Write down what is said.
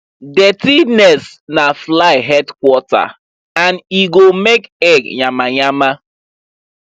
dirty nest na fly headquarter and e go make egg yamayama